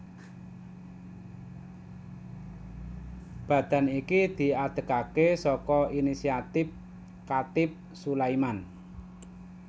Badan iki diadegaké saka inisiatif Chatib Sulaiman